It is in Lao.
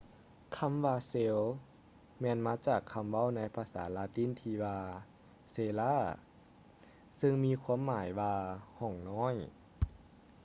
ຄຳວ່າ cell ແມ່ນມາຈາກຄຳເວົ້າໃນພາສາລາຕິນທີ່ວ່າ cella ຊຶ່ງມີຄວາມໝາຍວ່າຫ້ອງນ້ອຍ